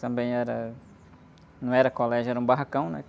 Também era... Não era colégio, era um barracão, né?